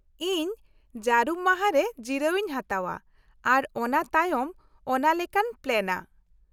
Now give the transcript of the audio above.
- ᱤᱧ ᱡᱟᱹᱨᱩᱢ ᱢᱟᱦᱟ ᱨᱮ ᱡᱤᱨᱟᱹᱣᱤᱧ ᱦᱟᱛᱟᱣ ᱟ ᱟᱨ ᱚᱱᱟ ᱛᱟᱭᱚᱢ ᱚᱱᱟ ᱞᱮᱠᱟᱧ ᱯᱞᱟᱱ ᱟ ᱾